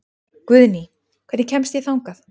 Guðný, hvernig kemst ég þangað?